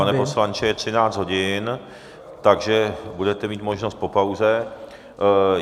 Pane poslanče, je 13 hodin, takže budete mít možnost po pauze.